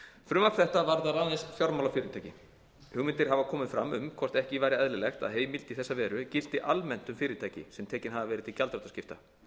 frumvarp þetta varðar aðeins fjármálafyrirtæki hugmyndir hafa komið fram um hvort ekki væri eðlilegt að heimild í þessa veru gilti almennt um fyrirtæki sem verið hafa tekin til gjaldþrotaskipta